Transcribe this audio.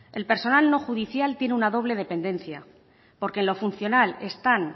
el personal no judicial tiene una doble dependencia porque en lo funcional están